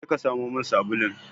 Je ka samo min sabulun!